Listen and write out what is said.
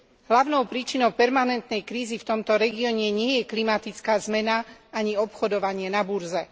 Hlavnou príčinou permanentnej krízy v tomto regióne nie je klimatická zmena, ani obchodovanie na burze.